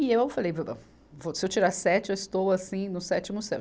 E eu falei, se eu tirar sete, eu estou assim no sétimo céu.